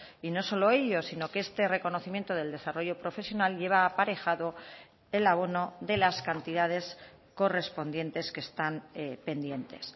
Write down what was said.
y no solo ello sino que este reconocimiento del desarrollo profesional lleva aparejado el abono de las cantidades correspondientes que están pendientes